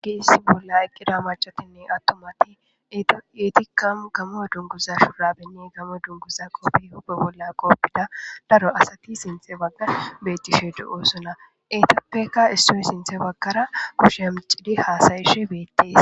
Giissi bolla aqqida macatinne attomati eetikamu gamo dunguza shurabinni gamo dunguza qoppi hubbe bolla qoppida daro asati sinthe bagga betishe do7osona etappeka issoy sinthe baggara pusheemcidi haasayeshe beettes.